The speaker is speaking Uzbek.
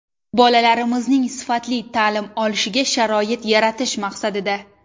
Bolalarimizning sifatli ta’lim olishiga sharoit yaratish maqsadida.